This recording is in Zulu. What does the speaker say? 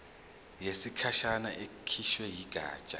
yesikhashana ekhishwe yigatsha